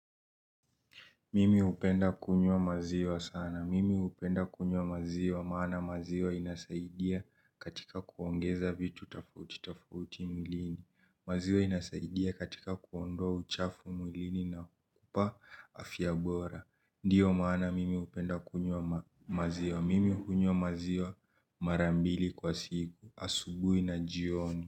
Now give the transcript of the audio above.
Mimi upenda kunywa maziwa sana. Mimi upenda kunywa maziwa maana maziwa inasaidia katika kuongeza vitu tafouti tafouti mwilini. Maziwa inasaidia katika kuondoa uchafu mwilini na kupa afiabora. Ndiyo maana mimi upenda kunywa maziwa. Mimi ukunywa maziwa marambili kwa siku. Asubui na jioni.